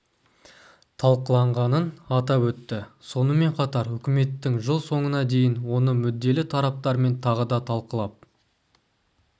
талқыланғанын атап өтті сонымен қатар үкіметтің жыл соңына дейін оны мүдделі тараптармен тағы да талқылап